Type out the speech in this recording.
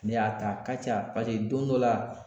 Ne y'a ta a ka ca ,paseke don dɔ la